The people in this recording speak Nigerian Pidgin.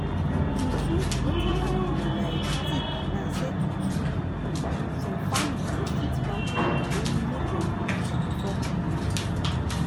true true wetin i bin dey um think na say true true um some family dem fit wan pray or make dem do ritual before operation.